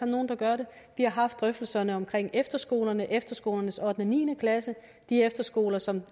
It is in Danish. nogen der gør det vi har haft drøftelserne om efterskolernes efterskolernes ottende og niende klasse de efterskoler som